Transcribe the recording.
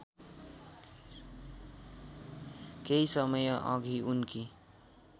केही समयअघि उनकी